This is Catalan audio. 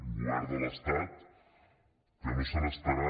un govern de l’estat que no se n’estarà